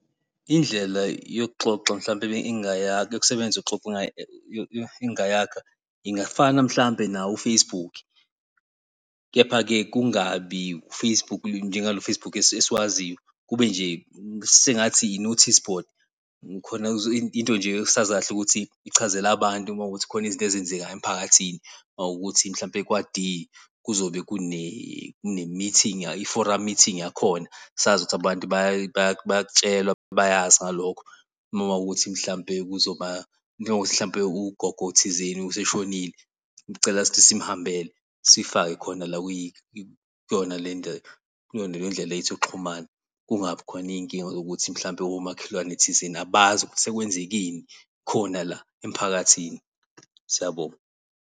Indlela yokuxoxa mhlawumbe yokusebenzisa engingayakha ingafana, mhlawumbe nawo u-Facebook. Kepha-ke kungabi u-Facebook njengalo Facebook esiwaziyo, kube sengathi i-notice board kukhona into nje esazi kahle ukuthi ichazela abantu uma kuwukuthi kukhona izinto ezenzekayo emiphakathini. Mawukuthi mhlawumbe kwa-D kuzobe kune-meeting i-forum meeting yakhona. Sazi ukuthi abantu bayakutshelwa bayazi ngalokho mawukuthi mhlawumbe kuzoba njengokuthi mhlawumbe ugogo thizeni useshonile kucela ukuthi simhambele siyifake khona la kuyona le ndlela yethu yokuxhumana. Kungabi khona inkinga zokuthi mhlawumbe omakhelwane thizeni abazi ukuthi sekwenzekeni khona la emphakathini. Siyabonga